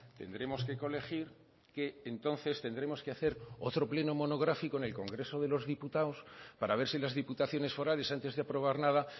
tendremos que colegir que entonces tendremos que hacer otro pleno monográfico en el congreso de los diputados para ver si las diputaciones forales antes de aprobar nada